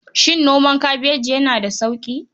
Shin noman kabeji yana da sauƙi?